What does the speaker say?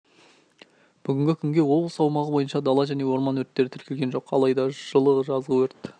бүгінгі күнге облыс аумағы бойынша дала және орман өрттері тіркелген жоқ алайда жылы жазғы өрт